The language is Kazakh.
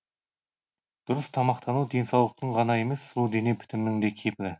дұрыс тамақтану денсаулықтың ғана емес сұлу дене бітімнің де кепілі